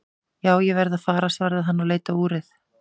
Jú, ég verð að fara svaraði hann og leit á úrið.